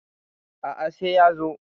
A`a sai ya zo